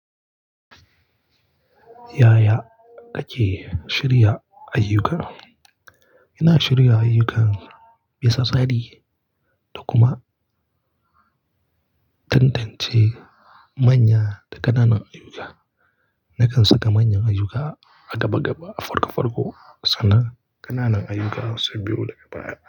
Yaya kake shirya ayyuka? Ina shirya ayyukan bisa tsari da kuma tantance manya da ƙananan ayyuka. Nakan saka manyan ayyuka a gaba gaba, a farko farko sannan ƙananan ayyuka su biyo daga baya.